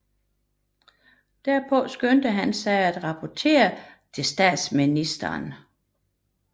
Derpå skyndte han sig at rapportere til statsministeren